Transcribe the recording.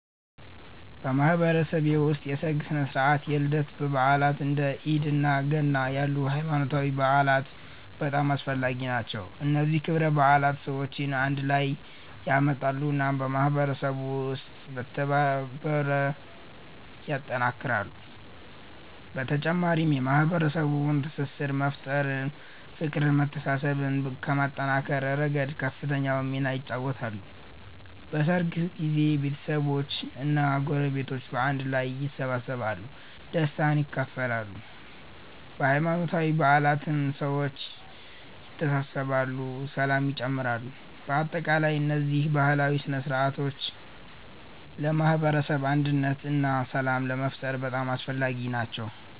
በማህበረሰቤ ውስጥ የሠርግ ሥነ ሥርዓት፣ የልደት በዓላት፣ እንደ ኢድ እና ገና ያሉ ሃይማኖታዊ በዓላት በጣም አስፈላጊ ናቸው። እነዚህ ክብረ በዓላት ሰዎችን አንድ ላይ ያመጣሉ እና በማህበረሰቡ ውስጥ መተባበርን ያጠናክራሉ። በተጨማሪም የማህበረሰቡን ትስስር በመፍጠር፤ ፍቅርን መተሳሰብን ከማጠናከር ረገድ ከፍተኛውን ሚና ይጫወታሉ። በሠርግ ጊዜ ቤተሰቦች እና ጎረቤቶች በአንድ ላይ ይሰበሰባሉ፣ ደስታን ይካፈላሉ። በሃይማኖታዊ በዓላትም ሰዎች ይተሳሰራሉ ሰላም ይጨምራሉ። በአጠቃላይ እነዚህ ባህላዊ ሥነ ሥርዓቶች ለማህበረሰብ አንድነት እና ሰላም ለመፍጠር በጣም አስፈላጊ ናቸው።